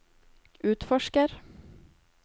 utforsker